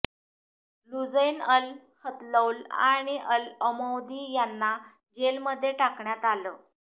Lujain al Hathloul आणि al Amoudi यांना जेलमध्ये टाकण्यात आलं